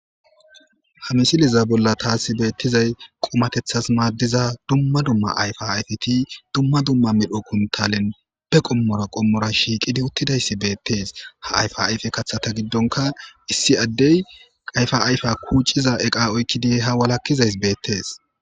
Ha misiliza bolla taasi beettizay qomatethas maaddiza dumma dumma ayfa ayfiti dumma dumma midho kuntalen be qommora qommora shiiqidi uttidayssi beettees ha ayfa ayfe kathata giddonka issi addey ayfa ayfa kuuciza eqa oykki dihe ha walakizays beettees